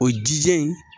O jija in